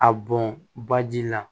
A bɔn baji la